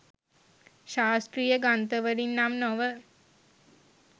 ශාස්ත්‍රීය ග්‍රන්ථවලින් නම් නොව